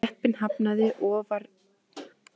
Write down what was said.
Jeppinn hafnaði ofan vegar á hjólunum